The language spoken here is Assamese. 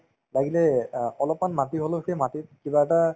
লাগিলে অ অলপমান মাটি হলেও সেই মাটিত কিবা এটা